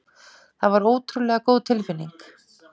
Það var ótrúlega góð tilfinning.